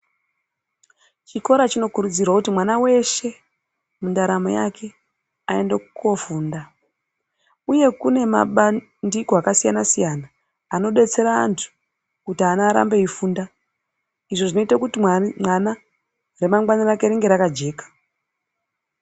Chikora chinokurudzirwa kuti mwana weshe aende koofunda uye kune mabandiko akasiyana siyana anodetsera ana kuti arambe veifunda izvo .